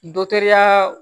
Dɔtɛri